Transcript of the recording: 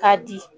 K'a di